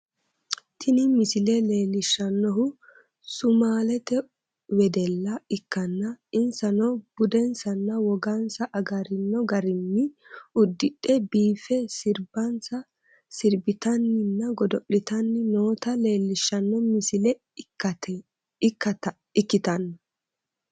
Tini misile leellishshannohu sumaalete wedella ikkanna, insano budensanna wogansa agarino garinni uddidhe biiffe sirbansa sirbitannina godo'litanni noota leellishshanno misile ikkitanna